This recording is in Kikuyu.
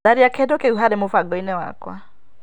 Tharia kĩndũ kĩu harĩ mũbango-inĩ wakwa.